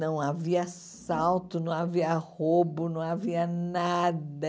Não havia assalto, não havia roubo, não havia nada.